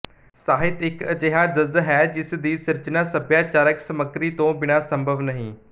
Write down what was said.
ਸਾਹਿਤ ਇੱਕ ਅਜਿਹਾ ਜ਼ਜ ਹੈ ਜਿਸ ਦੀ ਸਿਰਜਣਾ ਸੱਭਿਆਚਾਰਕ ਸਮੱਗਰੀ ਤੋਂ ਬਿਨਾਂ ਸੰਭਵ ਨਹੀਂ